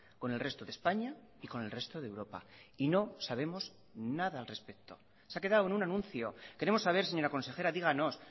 con el resto de españa y con el resto de europa y no sabemos nada al respecto se ha quedado en un anuncio queremos saber señora consejera díganos